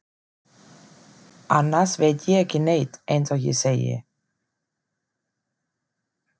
Annars veit ég ekki neitt eins og ég segi.